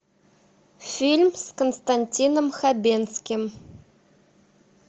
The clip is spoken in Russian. фильм с константином хабенским